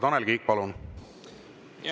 Tanel Kiik, palun!